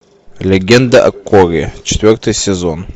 легенда о корре четвертый сезон